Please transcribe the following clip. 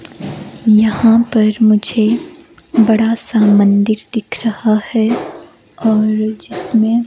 यहां पर मुझे बड़ा सा मंदिर दिख रहा है और जिसमें--